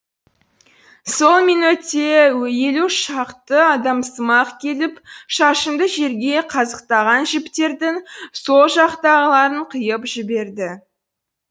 сол минөтте елу шақты адамсымақ келіп шашымды жерге қазықтаған жіптердің сол жақтағыларын қиып жіберді